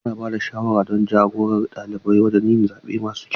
Ana ba da shawara don ja-gorar ɗalibai wajen yin zaɓe masu kyau.